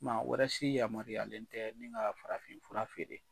Maa wɛrɛ si yamaruyalen tɛ nin ka farafin fura feere.